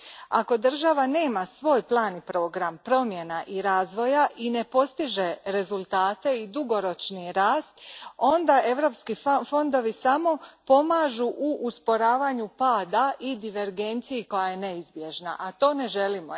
Ako država nema svoj plan i program promjena i razvoja i ne postiže rezultate i dugoročni rast, onda europski fondovi samo pomažu u usporavanju pada i divergenciji koja je neizbježna, a to ne želimo.